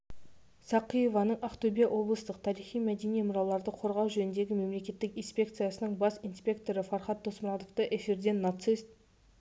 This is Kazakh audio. сәқиеваның ақтөбе облыстық тарихи-мәдени мұраларды қорғау жөніндегі мемлекеттік инспекцияның бас инспекторы фархад досмұратовты эфирден нацист